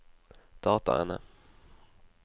dataene